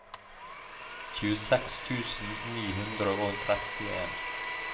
tjueseks tusen ni hundre og trettien